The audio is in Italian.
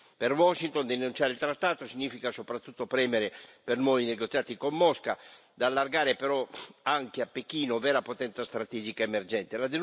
Per Washington denunciare il trattato significa soprattutto premere per nuovi negoziati con Mosca, da allargare però anche a Pechino, vera potenza strategica emergente.